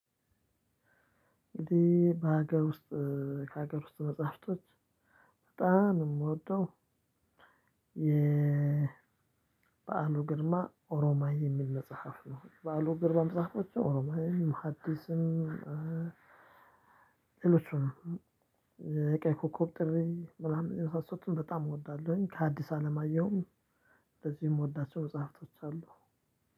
እንግዴ በሀገር ውስጥ ከሀገር ውስጥ መጽሐፍቶች በጣም የምወደው የበአሉ ግርማ ኦሮማይ የሚል መጽሐፍ ነው። በዓሉ ግርማ መጽሃፎች አሮማይን ሀዲስም። ሌሎቹን የቀይ ኮከብ ጥሪ ምናምን የመሳሰሉትን በጣም እወዳለሁ። ከአዲስ አለማየሁም። እንደዚህ የምወዳቸው መጽሃፍቶች አሉ።